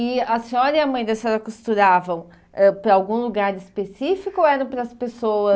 E a senhora e a mãe da senhora costuravam ãh para algum lugar específico ou era para as pessoas?